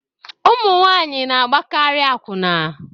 Ụmụ nwanyị na-agbakarị akwụna